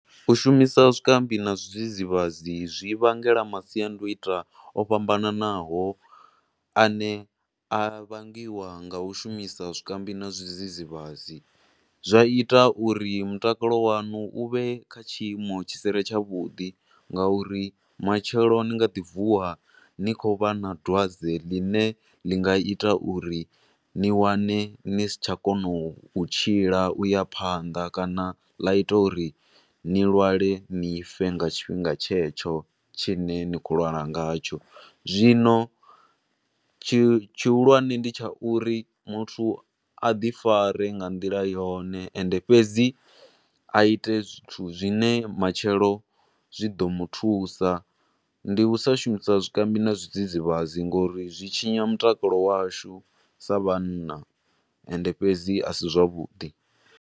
U shumisa zwikambi na zwidzidzivhadzi zwivhangela masiandoitwa o fhambananaho ane a vhangiwa nga u shumisa zwikambi na zwidzidzivhadzi. Zwa ita uri mutakalo wanu u vhe kha tshiimo tshi si re tsha vhuḓi nga uri matshelo ni nga ḓi vuwa ni khou vha na dwadze ḽi ne ḽi nga ita uri ni wane ni si tsha kona u tshila u ya phanḓa kana ḽa ita uri ni lwale ni fe nga tshinga tshetsho tshine ni khou lwalwa nga tsho. Zwino tshi tshihulwane ndi tsha uri muthu a ḓi fare nga nḓila yone, ende fhedzi a ite zwithu zwine matshelo zwi ḓo muthusa, ndi usa shumisa zwikambi na zwidzidzivhadzi ngo uri zwi tshinya mutakalo washu sa vhanna, ende fhedzi a si zwa vhuḓi.